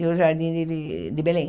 E o Jardim de de de Belém.